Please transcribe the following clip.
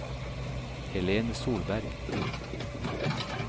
Helene Solberg